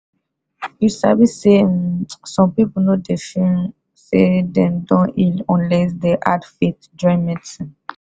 you sabi say um some person no dey feel um say dem don heal unless them add faith join medicine